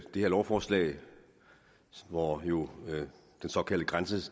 her lovforslag hvor jo den såkaldte